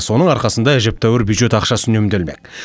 соның арқасында әжептәуір бюджет ақшасы үнемделмек